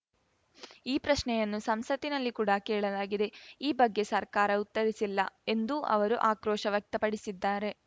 ಈ ಪ್ರಶ್ನೆಯನ್ನು ಸಂಸತ್ತಿನಲ್ಲಿ ಕೂಡ ಕೇಳಲಾಗಿದೆ ಈ ಬಗ್ಗೆ ಸರ್ಕಾರ ಉತ್ತರಿಸಿಲ್ಲ ಎಂದೂ ಅವರು ಆಕ್ರೋಶ ವ್ಯಕ್ತಪಡಿಸಿದ್ದಾರೆ